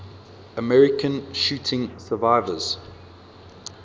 american shooting survivors